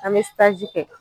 An bɛ kɛ